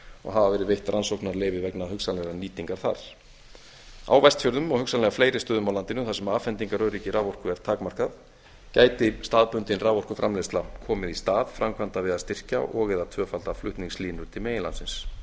og hafa verið geti rannsóknarleyfi vegna hugsanlegrar nýtingar þar á vestfjörðum og hugsanlega fleiri stöðum á landinu þar sem afhendingaröryggi raforku er takmarkað gæti staðbundin raforkuframleiðsla komið í stað framkvæmda við að styrkja og eða tvöfalda flutningslínur til meginlandsins